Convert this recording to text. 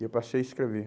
E eu passei a escrever.